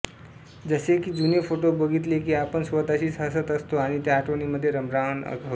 जसे कि जुने फोटो बघितले कि आपण स्वताशीच हसत असतो आणि त्या आठवणीमध्ये रममाण होतो